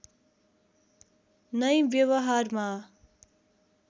नै व्यवहारमा